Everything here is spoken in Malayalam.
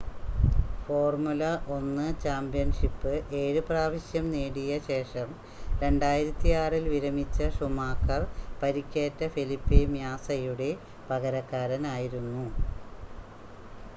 ഫോർമുല 1 ചാമ്പ്യൻഷിപ്പ് 7 പ്രാവശ്യം നേടിയ ശേഷം 2006 ൽ വിരമിച്ച ഷൂമാക്കർ പരിക്കേറ്റ ഫെലിപ്പെ മ്യാസയുടെ പകരക്കാരൻ ആയിരുന്നു